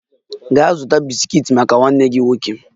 Gaa zụta bisikiiti maka nwanne gị nwoke